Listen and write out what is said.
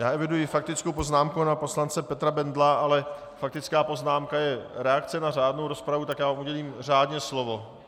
Já eviduji faktickou poznámku pana poslance Petra Bendla, ale faktická poznámka je reakce na řádnou rozpravu, tak já mu udělím řádně slovo.